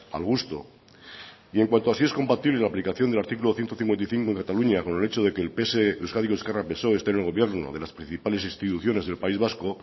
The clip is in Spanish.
al gusto y en cuanto a si es compatible la aplicación del artículo ciento cincuenta y cinco en cataluña con el hecho de que el pse euskadiko ezkerra psoe esté en el gobierno de las principales instituciones del país vasco